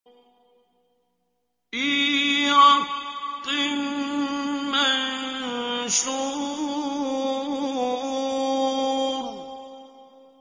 فِي رَقٍّ مَّنشُورٍ